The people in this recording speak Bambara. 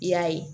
I y'a ye